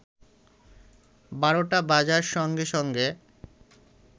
বারটা বাজার সঙ্গে সঙ্গে